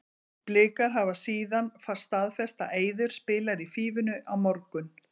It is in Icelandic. Blikar hafa síðan staðfest að Eiður spilar í Fífunni á morgun.